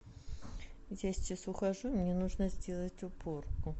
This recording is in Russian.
я сейчас ухожу и мне нужно сделать уборку